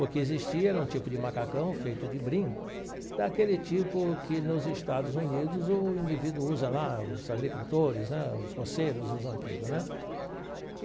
O que existia era um tipo de macacão feito de brim, daquele tipo que nos Estados Unidos o indivíduo usa lá, os agricultores né, os roceiros usam aquilo né.